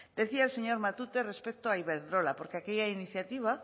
decía el señor matute respecto a iberdrola porque aquella iniciativa